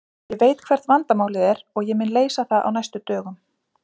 Ég veit hvert vandamálið er og ég mun leysa það á næstu dögum.